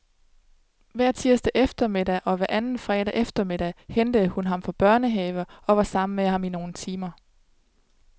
Hver tirsdag eftermiddag og hver anden fredag eftermiddag hentede hun ham fra børnehave og var sammen med ham i nogle timer.